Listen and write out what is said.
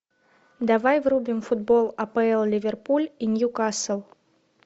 давай врубим футбол апл ливерпуль и ньюкасл